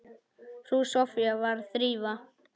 Frú Soffía var að þrífa.